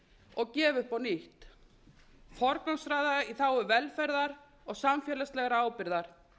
og gefa upp á nýtt forgangsraða í þágu velferðar og samfélagslegrar ábyrgðar